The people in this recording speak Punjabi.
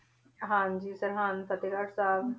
ਹਾਂਜੀ ਸਰਹੰਦ ਫਤਿਹਗੜ ਸਾਹਿਬ।